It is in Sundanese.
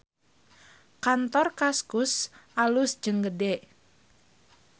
Kantor Kaskus alus jeung gede